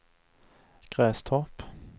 Grästorp